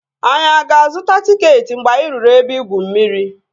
Anyị aga azụta tịketị mgbe anyị ruru ebe igwu mmiri ahụ?